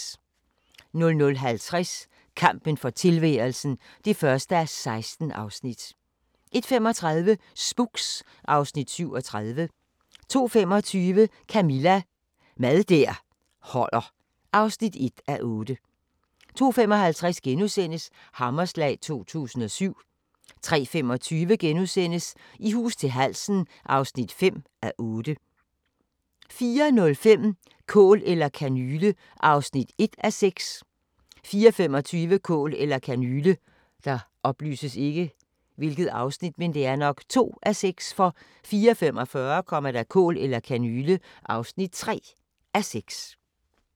00:50: Kampen for tilværelsen (1:16) 01:35: Spooks (Afs. 37) 02:25: Camilla – Mad der holder (1:8) 02:55: Hammerslag 2007 * 03:25: I hus til halsen (5:8)* 04:05: Kål eller kanyle (1:6) 04:25: Kål eller kanyle 04:45: Kål eller kanyle (3:6)